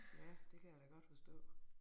Ja det kan jeg da godt forstå